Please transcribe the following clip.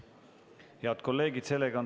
Head kolleegid!